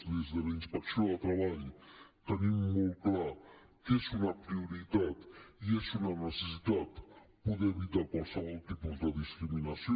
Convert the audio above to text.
des de la inspecció de treball tenim molt clar que és una prioritat i és una necessitat poder evitar qualsevol tipus de discriminació